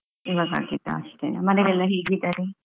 ಈವಾಗ ಆಗಿದ್ದಾ ಅಷ್ಟೆನಾ? ಮನೇಲೆಲ್ಲ ಹೇಗಿದ್ದಾರೆ?